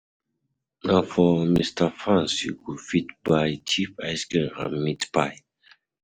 Na for Mr Fans you go fit buy cheap ice cream and meat pie.